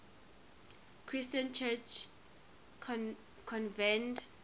christian church convened